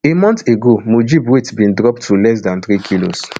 a month ago mujib weight bin drop to less dan three kilos